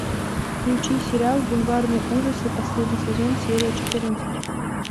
включи сериал бульварные ужасы последний сезон серия четырнадцать